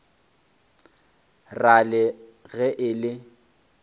ra le ge e le